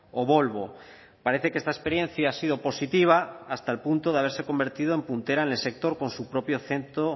o volvo parece que esta experiencia ha sido positiva hasta el punto de haberse convertido en puntera en el sector con su propio centro